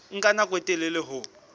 nka nako e telele ho